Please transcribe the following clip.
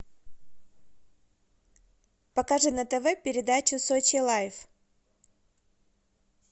покажи на тв передачу сочи лайв